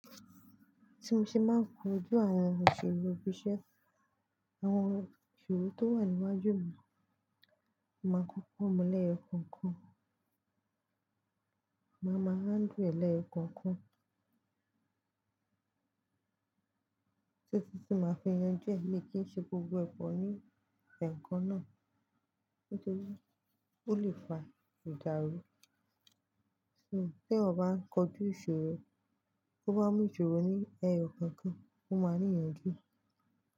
Tí mo ṣe máa ń kojú àwọn ohun ìṣorò ibi iṣẹ́, àwọn ìṣorò tó wà níwájú mi, máa kan funwon leyoo kookan, máa ma handle e ni eyo kọ́okan, títi ti máa fi ìyànjú ẹ, mi kí ń ṣe gbogbo pọ́ ní ẹekan náà. Nítorí ó lè fa ìdáru Bí ò bá ń kojú ìṣorò, to bá mú ìṣorò ní ẹyọ kookan, ó máa ní ìyànjú.